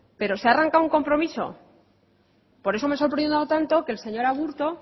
pero se ha arrancado un compromiso por eso me ha sorprendido tanto que el señor aburto